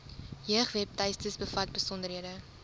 jeugwebtuiste bevat besonderhede